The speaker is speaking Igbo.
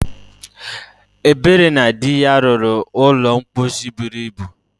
Ebere na di ya rụrụ ụlọ mposi buru ibu.